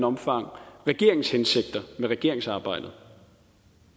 omfang regeringens hensigter med regeringsarbejdet